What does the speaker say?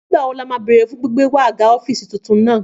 Nígbàwo ní o ma béèrè fún gbígbé wáa aga ọ́fìsì titun náà